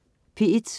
P1: